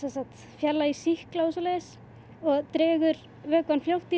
fjarlægir sýkla og dregur vökvann fljótt í